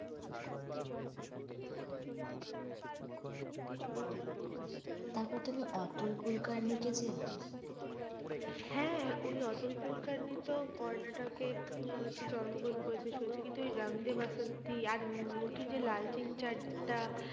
তারপর তুমি Atul Kulkarni চেন? হ্যাঁ ওই অতুল কুল কার্নি তো কর্নাটকে আহ জন্ম গ্রহণ করেছে। সো ফিকে তুই রাঙ দে বাসন্তী আর নতুন যে লাল টিং চাড্ডা টা